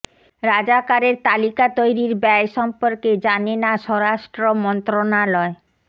রাজাকারের তালিকা তৈরির ব্যয় সম্পর্কে জানে না স্বরাষ্ট্র মন্ত্রণালয়